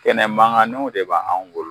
Kɛnɛ mankanninw de bɛ anw bolo